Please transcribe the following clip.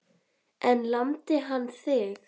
En lamdi hann þig?